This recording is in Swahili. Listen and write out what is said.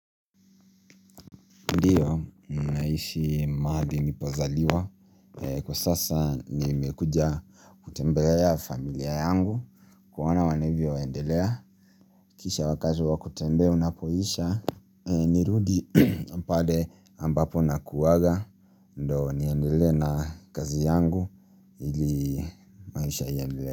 Ndio, ninaishi mahali nilipozaliwa. Kwa sasa nimekuja kutembelea familia yangu kuona wanavyo endelea kisha wakati wa kutembea unapoisha, nirudi pale ambapo nakuwanga ndio niendelee na kazi yangu ili maisha yaendelee.